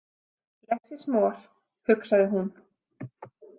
Less is more, hugsaði hún.